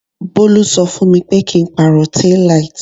Bolu ṣọ fún mi pé kí n pàrọ̀ tail light.